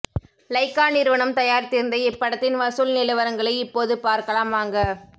Lyca நிறுவனம் தயாரித்திருந்த இப்படத்தின் வசூல் நிலவரங்களை இப்போது பார்க்கலாம் வாங்க